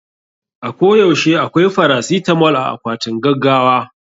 A ko yaushe akwai farasitamol a akwatin gaggawa.